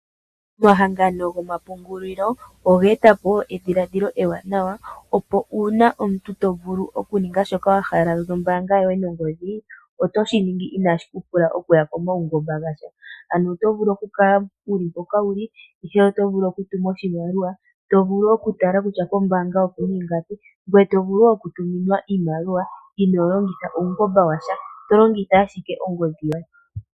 Omahangano gomapungulilo oge eta po woo edhiladhilo ewanawa opo uuna omuntu to vulu oku ninga shoka wa hala nombaanga yoye nongodhii, oto shi ningi inaa shikupula oku ya komaungomba gasha, ano oto vulu oku kala wuli mpoka wuli ihe oto vulu okutuma oshimaliwa, to vulu okutala kutya kombaanga oku na ingapi, ngoye to vulu woo oku tuminwa iimaliwa inoo longitha uungomba washa, to longitha ashike ongodhi yoye.